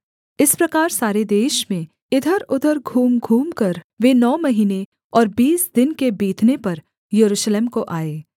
इस प्रकार सारे देश में इधरउधर घूम घूमकर वे नौ महीने और बीस दिन के बीतने पर यरूशलेम को आए